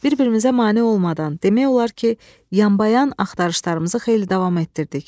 Bir-birimizə mane olmadan, demək olar ki, yanbayan axtarışlarımızı xeyli davam etdirdik.